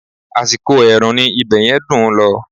Àsìkò ẹ̀rùn ni ibẹ̀yẹn dùn ún lọ